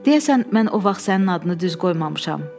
Deyəsən mən o vaxt sənin adını düz qoymamışam.